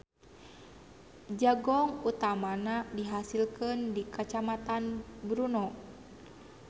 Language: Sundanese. Jagong utamana dihasilkeun di Kacamatan Bruno.